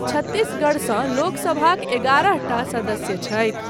छत्तीसगढ़सँ लोकसभाक ग्यारहटा सदस्य छथि।